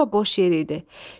Bura boş yer idi.